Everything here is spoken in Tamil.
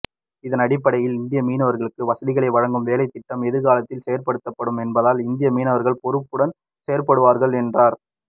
இதனடிப்படையில் இந்திய மீனவர்களுக்கு வசதிகளை வழங்கும் வேலைத்திட்டம் எதிர்காலத்தில் செயற்படுத்தப்படும் என்பதால் இந்திய மீனர்கள் பொறுப்புடன் செயற்படுவார்கள் என்றார்